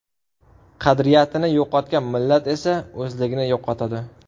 Qadriyatini yo‘qotgan millat esa o‘zligini yo‘qotadi.